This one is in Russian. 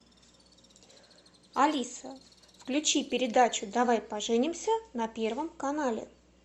алиса включи передачу давай поженимся на первом канале